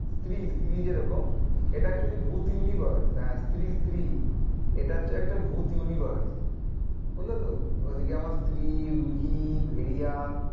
স্ত্রী স্ত্রী যে রকম এটা actually ভূত universe হ্যাঁ স্ট্রী স্ট্রী এটা হচ্ছে একটা ভূত universe বুঝলে তো? ওদিকে আমার স্ত্রী, ভেরিয়া